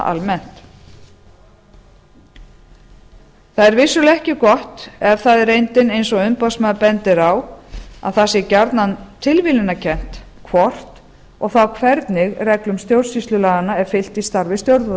almennt það er vissulega ekki gott ef það er reyndin eins og umboðsmaður bendir á að það sé gjarnan tilviljunarkennt hvort og þá hvernig reglum stjórnsýslulaganna er fylgt í starfi